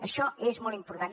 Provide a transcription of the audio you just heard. això és molt important